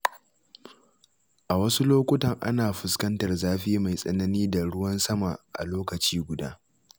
A wasu lokutan, ana fuskantar zafi mai tsanani da ruwan sama a lokaci guda.